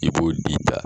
I b'o di ta